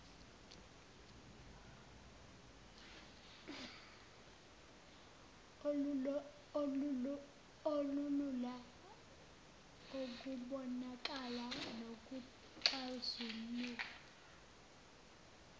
olulula ukubonakala nokuxazululwa